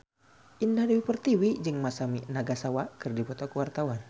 Indah Dewi Pertiwi jeung Masami Nagasawa keur dipoto ku wartawan